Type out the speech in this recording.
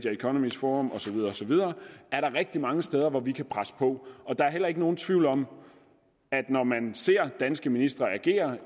economies forum og så videre og så videre er der rigtig mange steder hvor vi kan presse på der er heller ikke nogen tvivl om at når man ser danske ministre agere